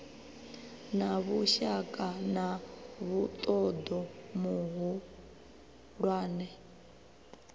na vhushaka na muṱoḓo muhulwane